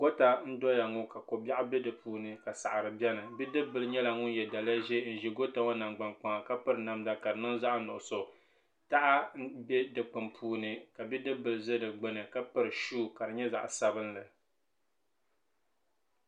gota n doya ŋɔ ka ko biɛɣu bɛ di puuni la saɣari biɛni bia ŋɔ nyɛla ŋun yɛ daliya ʒiɛ n ʒi goota ŋɔ nagbani kpaŋa ka piri namda ka di niŋ zaɣ nuɣso taha n bɛ dikpuni puuni ka bidib bili ʒɛ di gbuni ka piri shuu ka di nyɛ zaɣ sabinli